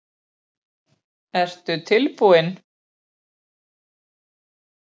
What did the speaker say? Ertu tilbúinn?